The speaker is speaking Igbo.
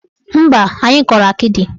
Mba, anyị kọrọ akịdị.